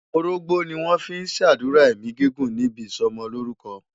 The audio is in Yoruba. Orógbó ni wọ́n fi ń ṣàdúrà ẹ̀mí gígùn níbi ìsọmọlórúkọ.